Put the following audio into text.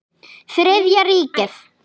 Þriðja ríkið.